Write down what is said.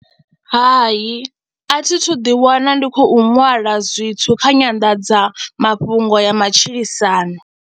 Hai, a thi thu ḓiwana ndi khou ṅwala zwithu kha nyanḓadza mafhungo ya matshilisano.